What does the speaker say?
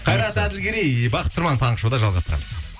қайрат әділгерей бақыт тұрман таңғы шоуда жалғастырамыз